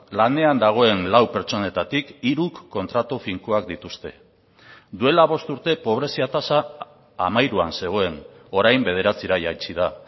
lanean dagoen lau pertsonetatik hiruk kontratu finkoak dituzte duela bost urte pobrezia tasa hamairuan zegoen orain bederatzira jaitsi da